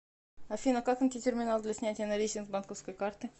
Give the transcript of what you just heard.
афина как найти терминал для снятия наличных с банковской карты